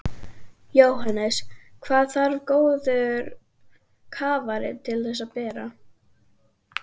Jóhannes: Hvað þarf góður kafari til að bera?